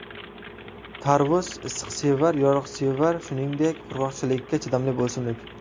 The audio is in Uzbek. Tarvuz issiqsevar, yoruqsevar, shuningdek, qurg‘oqchilikka chidamli o‘simlik.